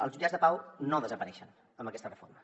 els jutjats de pau no desapareixen amb aquesta reforma